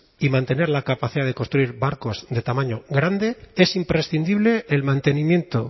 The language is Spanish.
y mantener la capacidad de construir barcos de tamaño grande es imprescindible el mantenimiento